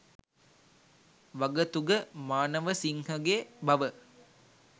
වගතුග මානවසිංහගේ බව